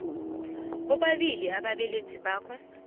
bobabili ababelethi bakhe